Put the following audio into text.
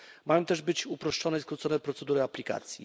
Mają też być uproszczone i skrócone procedury aplikacji.